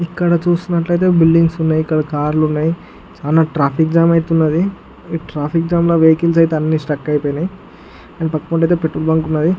ఇక్కడ చూసినట్లయితే బిల్డింగ్స్ ఉన్నాయి. ఇక్కడ కార్లు ఉన్నాయి చాన ట్రాఫిక్ జామ్ అయతే వున్నది. ఈ ట్రాఫిక్ జామ్ లో వెహికల్స్ అయితే అన్ని స్టక్ అయిపోయినాయి పక్కన అయితే పెట్రోల్ బంక్ ఉన్నది.